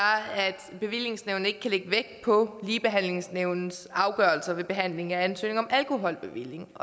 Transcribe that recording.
at bevillingsnævnet ikke kan lægge vægt på ligebehandlingsnævnets afgørelser ved behandling af ansøgninger om alkoholbevilling